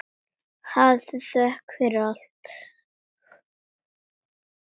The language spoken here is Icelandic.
hafðu þökk fyrir allt.